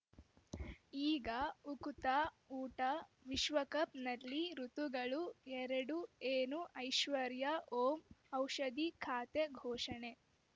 ಈಗ ಉಕುತ ಊಟ ವಿಶ್ವಕಪ್‌ನಲ್ಲಿ ಋತುಗಳು ಎರಡು ಏನು ಐಶ್ವರ್ಯಾ ಓಂ ಔಷಧಿ ಖಾತೆ ಘೋಷಣೆ